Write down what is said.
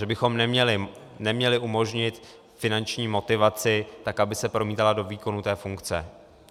Takže bychom neměli umožnit finanční motivaci tak, aby se promítala do výkonu té funkce.